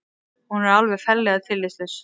Hún er alveg ferlega tillitslaus